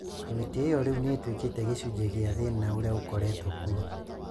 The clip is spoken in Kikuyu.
"Kamĩtĩ ĩyo riu nĩ ĩtuĩkĩte gĩcunjĩ kĩa thĩna ũrĩa ũkoretwo kuo